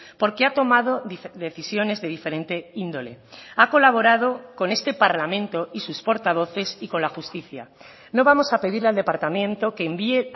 porque ha tomado decisiones de diferente índole ha colaborado con este parlamento y sus portavoces y con la justicia no vamos a pedirle al departamento que envíe